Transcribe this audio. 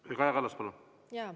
Proua Kaja Kallas, palun!